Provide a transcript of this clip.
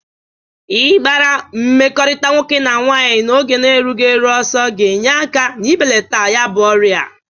Ị gbara mmekọrịta nwoke na nwaanyị n'oge erughi eru ọsọ ga-enye aka n'ibelata ya bụ ọrịa.